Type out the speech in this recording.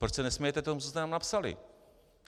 Proč se nesmějete tomu, co jste tam napsali?